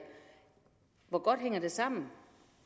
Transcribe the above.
hvor godt hænger det sammen